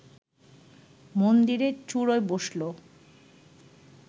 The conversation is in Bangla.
মন্দিরের চুড়োয় বসল